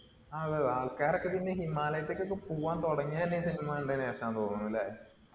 ആഹ് അതെ അതെ. ആൾക്കാരൊക്കെ പിന്നെ ഹിമാലയത്തിക്കൊകെ പോവാൻ തുടങ്ങിയത് തന്നെ ഈ cinema കണ്ടതിനു ശേഷമാണെന്നു തോന്നുന്നു അല്ലെ